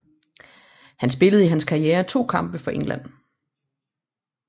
Han spillede i hans karriere 2 kampe for England